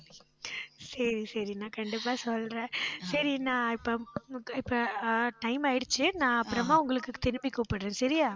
சரி, சரி நான் கண்டிப்பா சொல்றேன் சரி இப்ப இப்ப ஆஹ் time ஆயிடுச்சு நான் அப்புறமா உங்களுக்கு திருப்பி கூப்பிடறேன். சரியா